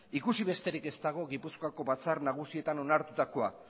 ikusi besterik ez dago gipuzkoako batzar nagusietan onartutakoa